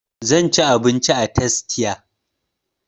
Zan ci abinci a tastia